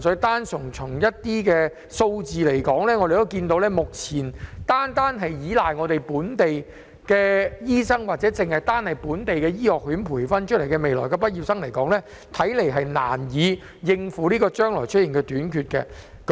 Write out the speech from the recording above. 但是，從數字來看，目前單靠本地醫生或本地醫學院日後培訓出來的畢業生，似乎難以應付將來會出現的短缺。